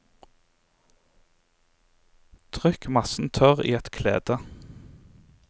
Trykk massen tørr i et klede.